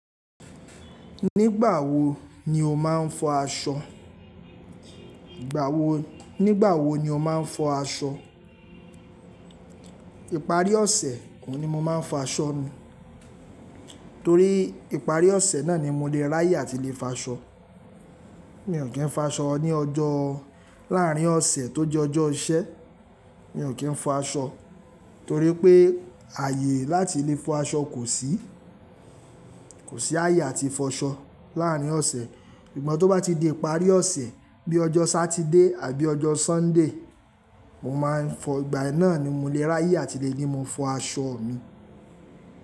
Nígbà wo ni o máa ń fọ aṣọ? Ìparí ọ̀sẹ̀ ohun ni mo máa ń fọ aṣọ mi, torí ìparí ọ̀sẹ̀ náà ni mo lè ráyè àti lè fo aṣọ. Mi ò kí ń fọ aṣọ ní ọjọ́ láàrín ọ̀sẹ̀ tó jẹ́ ọjọ́ iṣẹ́. Mi ò kí ń fọ aṣọ torí pé ààyè láti lè fọ aṣọ kò sí. Kò sí ààyè àti fọ aṣọ láàrín ọ̀sẹ̀. Sugbon tó bá ti di ìparí ọ̀sẹ̀ bí i ọjọ́ Sátidé àbí ọjọ́ Súnday, mo máa ń fọ, ìgbà yen náà ni mo lè ráyè àti lè ní mo fọ aṣọ mi.